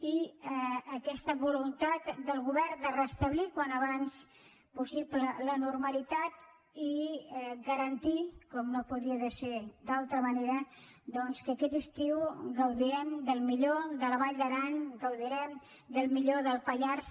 i aquesta voluntat del govern de restablir al més aviat possible la normalitat i garantir com no podia ser d’altra manera doncs que aquest estiu gaudirem del millor de la vall d’aran gaudirem del millor del pallars